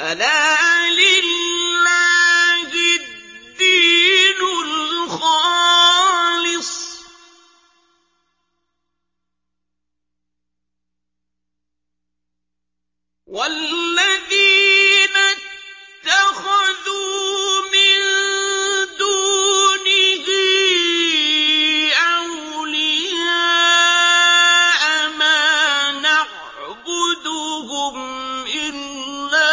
أَلَا لِلَّهِ الدِّينُ الْخَالِصُ ۚ وَالَّذِينَ اتَّخَذُوا مِن دُونِهِ أَوْلِيَاءَ مَا نَعْبُدُهُمْ إِلَّا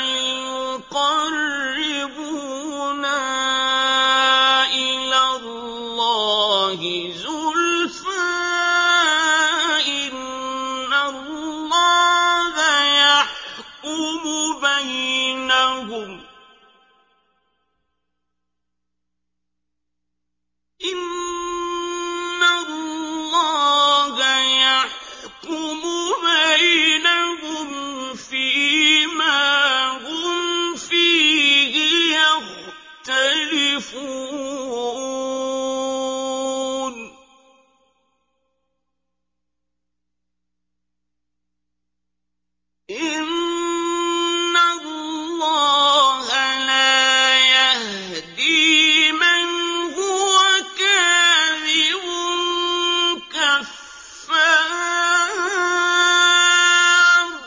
لِيُقَرِّبُونَا إِلَى اللَّهِ زُلْفَىٰ إِنَّ اللَّهَ يَحْكُمُ بَيْنَهُمْ فِي مَا هُمْ فِيهِ يَخْتَلِفُونَ ۗ إِنَّ اللَّهَ لَا يَهْدِي مَنْ هُوَ كَاذِبٌ كَفَّارٌ